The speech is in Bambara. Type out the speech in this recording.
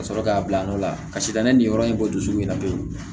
Ka sɔrɔ k'a bila nɔ la kasi danni ni yɔrɔ in bɔ dusukun na pewu